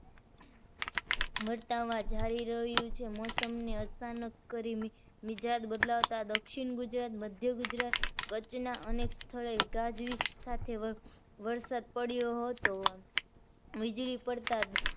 વરતાવા જાય રહ્યું છે. મૌસમ ને અચાનક કરી મિજાજ બદલા તા દક્ષિણ ગુજરાત, મધ્ય ગુજરાત, કચ્છના અનેક સ્થળે ગાજવીજ સાથે વરસાદ પડ્યો હતો. વીજળી પડતા